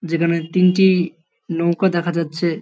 যেখানে তিনটি-ই- নৌকা দেখা যাচ্ছে।